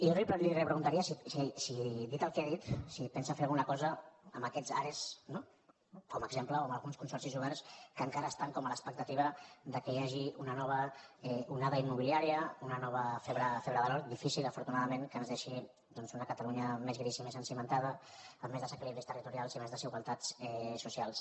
jo li repreguntaria dit el que ha dit si pensa fer alguna cosa amb aquests are no com a exemple o amb alguns consorcis oberts que encara estan com a l’expectativa que hi hagi una nova onada immobiliària una nova febre de l’or difícil afortunadament que ens deixi una catalunya més grisa i més cimentada amb més desequilibris territorials i més desigualtats socials